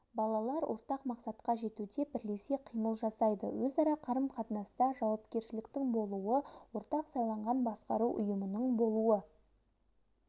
балалар ортақ мақсатқа жетуде бірлесе қимыл жасайды өзара қарым-қатынаста жауапкершіліктің болуы ортақ сайланған басқару ұйымының болуы